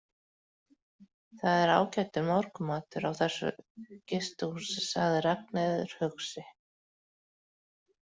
Það er ágætur morgunmatur á þessu gistihúsi, sagði Ragnheiður hugsi.